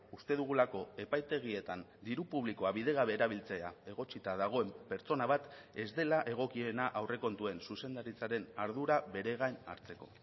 uste dugulako epaitegietan diru publikoa bidegabe erabiltzea egotzita dagoen pertsona bat ez dela egokiena aurrekontuen zuzendaritzaren ardura bere gain hartzeko